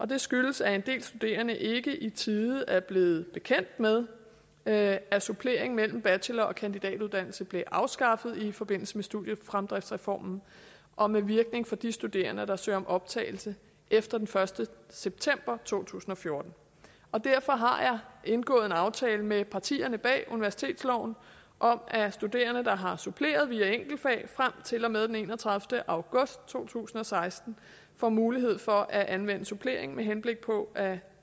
det skyldes at en del studerende ikke i tide er blevet bekendt med med at suppleringen mellem bachelor og kandidatuddannelse blev afskaffet i forbindelse med studiefremdriftsreformen og med virkning for de studerende der søger om optagelse efter den første september to tusind og fjorten derfor har jeg indgået en aftale med partierne bag universitetsloven om at studerende der har suppleret via enkeltfag frem til og med den enogtredivete august to tusind og seksten får mulighed for at anvende supplering med henblik på at